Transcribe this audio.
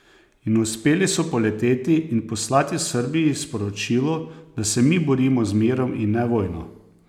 In uspeli so poleteti in poslati Srbiji sporočilo, da se mi borimo z mirom in ne vojno!